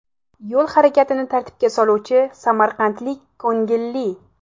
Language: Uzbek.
Yo‘l harakatini tartibga soluvchi samarqandlik ko‘ngilli.